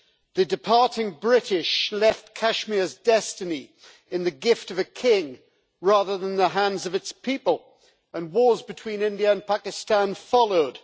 The departing British left Kashmir's destiny in the gift of a king, rather than in the hands of its people, and wars between India and Pakistan followed.